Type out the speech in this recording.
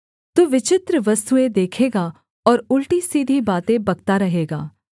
तू विचित्र वस्तुएँ देखेगा और उलटीसीधी बातें बकता रहेगा